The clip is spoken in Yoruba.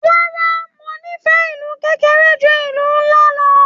Rárá, mo n'ifẹ ìlú kékeré jù ìlú nlá lọ.